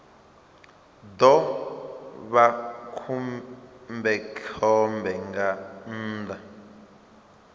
ḓo vha khombekhombe nga nnḓa